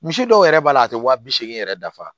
Misi dɔw yɛrɛ b'a la a tɛ wa bi seegin yɛrɛ dafa